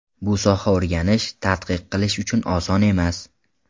Bu soha o‘rganish, tadqiq qilish uchun oson emas.